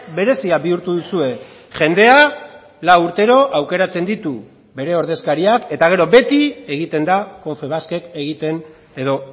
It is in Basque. berezia bihurtu duzue jendea lau urtero aukeratzen ditu bere ordezkariak eta gero beti egiten da confebaskek egiten edo